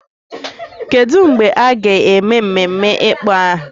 Kedu mgbe a ga-eme mmemme ịkpọ aha?